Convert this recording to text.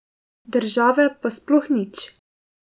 Države pa sploh nič.